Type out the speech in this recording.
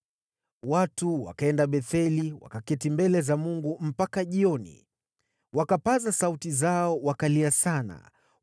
Watu wakaenda Betheli, wakaketi mbele za Mungu mpaka jioni, wakapaza sauti zao, wakalia sana.